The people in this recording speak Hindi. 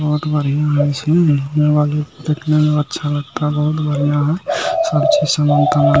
और अच्छा लगता है सबसे अच्छा समान था।